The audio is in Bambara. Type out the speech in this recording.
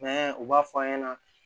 u b'a fɔ an ɲɛna